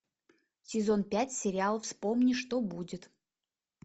сезон пять сериал вспомни что будет